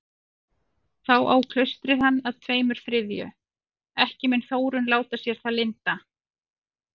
Þá á klaustrið hann að tveimur þriðju, ekki mun Þórunn láta sér það lynda.